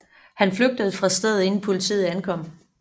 Han flygtede fra stedet inden politiet ankom